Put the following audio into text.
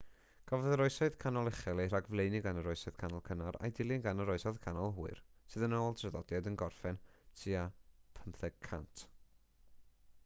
cafodd yr oesoedd canol uchel eu rhagflaenu gan yr oesoedd canol cynnar a'u dilyn gan yr oesoedd canol hwyr sydd yn ôl traddodiad yn gorffen tua 1500